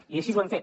i així ho hem fet